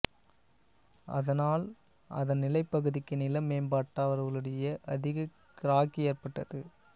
அதனால் அதன் நிலப் பகுதிக்கு நில மேம்பாட்டாளர்களிடையே அதிகக் கிராக்கி ஏற்பட்டது